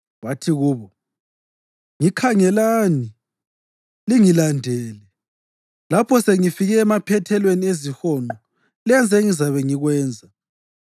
Wathi kubo, “Ngikhangelani. Lingilandele. Lapho sengifike emaphethelweni ezihonqo, lenze engizabe ngikwenza.